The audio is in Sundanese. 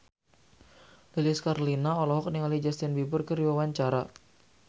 Lilis Karlina olohok ningali Justin Beiber keur diwawancara